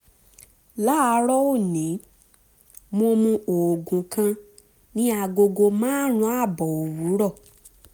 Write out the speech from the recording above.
láàárọ̀ òní mo mu oògùn kan ní agogo márùn-ún ààbọ̀ òwúrọ̀